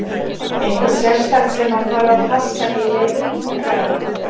Eitthvað sérstakt sem að þarf að passa í leik Búlgarana?